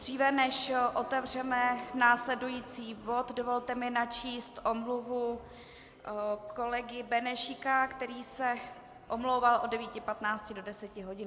Dříve než otevřeme následující bod, dovolte mi načíst omluvu kolegy Benešíka, který se omlouval od 9.15 do 10 hodin.